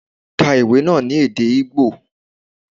Ká ìwé náà ní èdè Igbo!